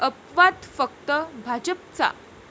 अपवाद फक्त भाजपचा.